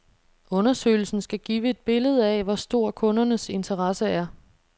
Undersøgelsen skal give et billede af, hvor stor kundernes interesse er.